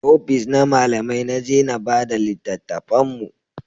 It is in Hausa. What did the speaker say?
Ofis na malamai na je na bada littatafan mu